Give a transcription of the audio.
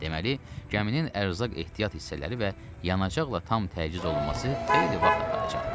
Deməli, gəminin ərzaq ehtiyat hissələri və yanacaqla tam təchiz olunması xeyli vaxt aparacaqdı.